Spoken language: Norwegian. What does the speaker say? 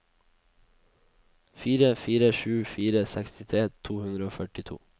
fire fire sju fire sekstitre to hundre og førtito